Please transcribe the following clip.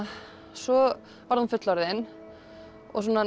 svo varð hún fullorðin og